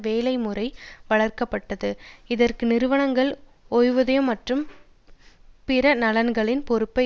வேலை முறை வளர்க்க பட்டது இதற்கு நிறுவனங்கள் ஓய்வூதியம் மற்றும் பிற நலன்களின் பொறுப்பை